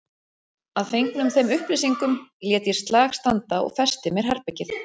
Að fengnum þeim upplýsingum lét ég slag standa og festi mér herbergið.